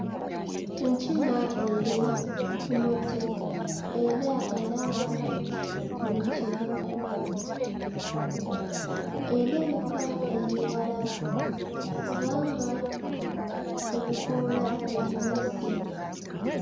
Enkima eri ku muti era eraba buli kimu erabika eri wala kubanga ebikoola bigibisse.